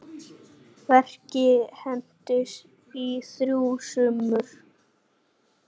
Verkið entist í þrjú sumur.